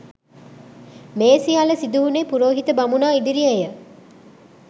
මේ සියල්ල සිදුවුණේ පුරෝහිත බමුණා, ඉදිරියේ ය.